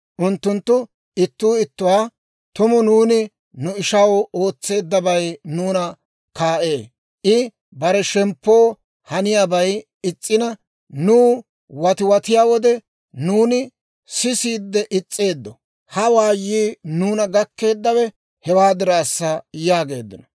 Unttunttu ittuu ittuwaa, «Tumu nuuni nu ishaw ootseeddabay nuuna kaa'ee. I bare shemppo haniyaabay is's'ina, nuw watiwatiyaa wode, nuuni sisiide is's'eeddo; ha waayii nuuna gakkeeddawe hewaa diraassa» yaageeddino.